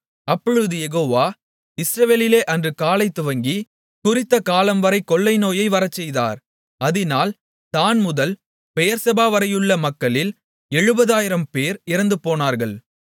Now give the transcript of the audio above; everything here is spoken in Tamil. அப்பொழுது யெகோவா இஸ்ரவேலிலே அன்று காலைதுவங்கி குறித்தகாலம்வரை கொள்ளைநோயை வரச்செய்தார் அதினால் தாண்முதல் பெயெர்செபாவரையுள்ள மக்களில் 70000 பேர் இறந்துபோனார்கள்